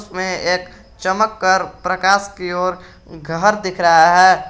मैं एक चमत्कार प्रकाश की ओर घर दिख रहा है।